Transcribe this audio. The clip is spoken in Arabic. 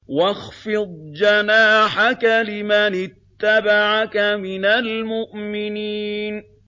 وَاخْفِضْ جَنَاحَكَ لِمَنِ اتَّبَعَكَ مِنَ الْمُؤْمِنِينَ